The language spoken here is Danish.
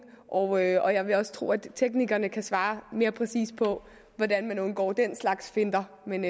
og jeg vil også tro at teknikerne kan svare mere præcist på hvordan man undgår den slags finter men